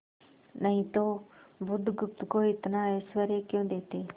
नहीं तो बुधगुप्त को इतना ऐश्वर्य क्यों देते